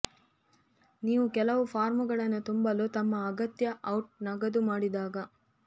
ನೀವು ಕೆಲವು ಫಾರ್ಮ್ಗಳನ್ನು ತುಂಬಲು ತಮ್ಮ ಅಗತ್ಯ ಔಟ್ ನಗದು ಮಾಡಿದಾಗ